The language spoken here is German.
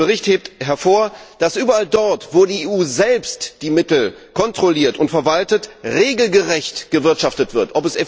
Der Bericht hebt hervor, dass überall dort, wo die EU selbst die Mittel kontrolliert und verwaltet, regelgerecht gewirtschaftet wird.